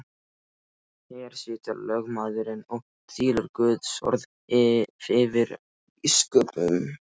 Hér situr lögmaðurinn og þylur Guðsorð yfir biskupnum.